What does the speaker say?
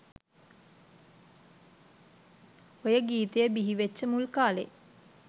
ඔය ගීතය බිහිවෙච්ච මුල් කාලෙ